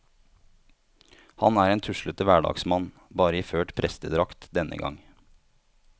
Han er en tuslete hverdagsmann, bare iført prestedrakt denne gang.